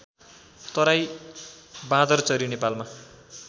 तराई बाँदरचरी नेपालमा